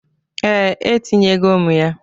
Ee, e tinyego m ya.